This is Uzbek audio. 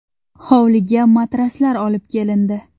Hovliga matraslar olib kelindi.